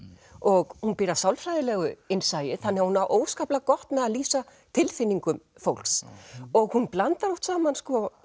og hún býr að sálfræðilegu innsæi hún á óskaplega gott með að lýsa tilfinningum fólks og hún blandar oft saman